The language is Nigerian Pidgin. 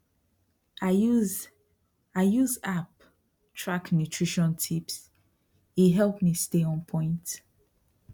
i use i use app track nutrition tipse help me stay on point